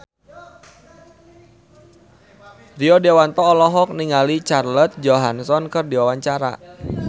Rio Dewanto olohok ningali Scarlett Johansson keur diwawancara